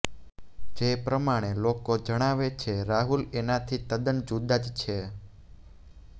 જે પ્રમાણે લોકો જણાવે છે રાહુલ એનાથી તદ્દન જુદા જ છે